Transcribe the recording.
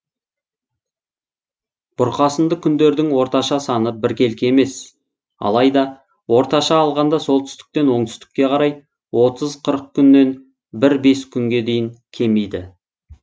бұрқасынды күндердің орташа саны біркелкі емес алайда орташа алғанда солтүстіктен оңтүстікке қарай отыз қырық күннен бір бес күнге дейін кемиді